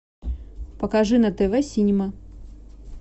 покажи на тв синема